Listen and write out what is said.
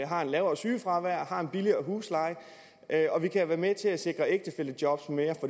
har et lavere sygefravær har en billigere husleje og vi kan være med til at sikre flere ægtefællejob